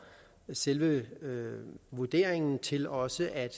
selve vurderingen til også at